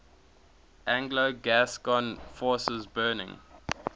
anglo gascon forces burning